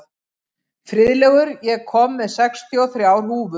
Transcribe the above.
Friðlaugur, ég kom með sextíu og þrjár húfur!